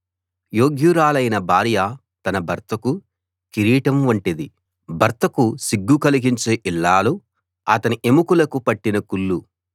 యోగ్యురాలైన భార్య తన భర్తకు కిరీటం వంటిది భర్తకు సిగ్గు కలిగించే ఇల్లాలు అతని ఎముకలకు పట్టిన కుళ్లు